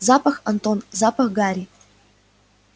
запах антон запах гари